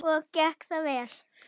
Og gekk það vel?